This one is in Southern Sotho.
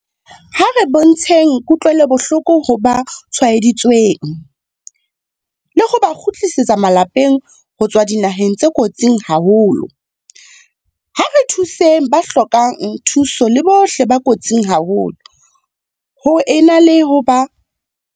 Ha re bontsheng kutlwelobohloko ho ba tshwaeditsweng, le ho ba kgutletseng lapeng ho tswa dinaheng tse kotsing haholo. Ha re thuseng ba hlokang thuso le bohle ba kotsing haholo, ho e na le ho ba nena.